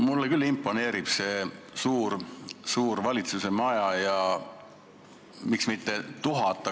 Mulle küll imponeerib see suur valitsuse maja ja miks mitte 1000 ametnikku.